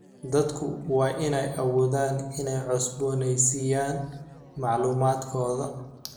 Dadku waa inay awoodaan inay cusbooneysiiyaan macluumaadkooda.